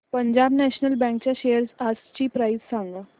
Punjab national bank च्या shares आजची price सांगा